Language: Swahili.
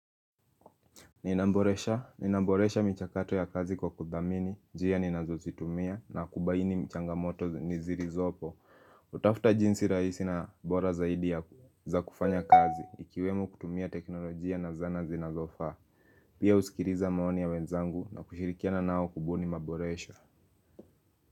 Ninaboresha, ninaboresha michakato ya kazi kwa kudhamini, jia ninazozitumia na kubaini mchangamoto nizi zilizopo kutafuta jinsi rahisi na bora zaidi ya za kufanya kazi ikiwemo kutumia teknolojia na zana zinazofaa Pia husikiliza maoni ya wenzangu na kushirikiana nao kubuni maboresha.